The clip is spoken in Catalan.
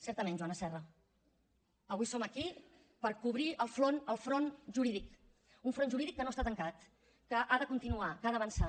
certament joana serra avui som aquí per cobrir el front jurídic un front jurídic que no està tancat que ha de continuar que ha d’avançar